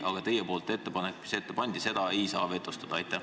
Aga seda ettepanekut, mille te ette lugesite, vetostada ei saa.